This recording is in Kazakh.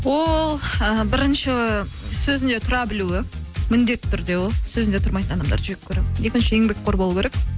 ол і бірінші сөзінде тұра білуі міндетті түрде ол сөзінде тұрмайтын адамдарды жек көремін екінші еңбекқор болу керек